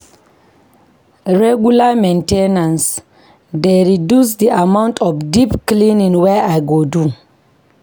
Regular main ten ance dey reduce the amount of deep cleaning wey I go do.